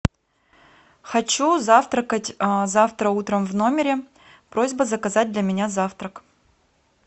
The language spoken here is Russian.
хочу завтракать завтра утром в номере просьба заказать для меня завтрак